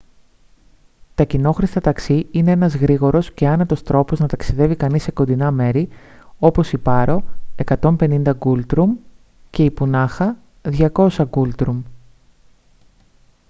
τα κοινόχρηστα ταξί είναι ένας γρήγορος και άνετος τρόπος να ταξιδεύει κανείς σε κοντινά μέρη όπως η πάρο 150 νγκούλτρουμ και η πουνάχα 200 νγκούλτρουμ